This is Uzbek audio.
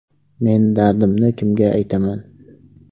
Men dardimni kimga aytaman?